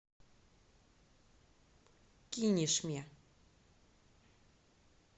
кинешме